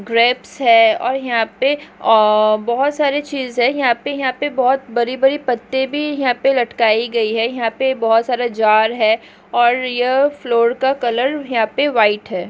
Grapes है और यहाँ पे बहुत सारे चीज है और यहाँ पे यहाँ पे बहुत बड़ी बड़ी पत्ते भी यहाँ पे लटकाई गई है यहाँ पे बहुत सारे जार है और यह फ्लोर का कलर यहां पे वाइट है।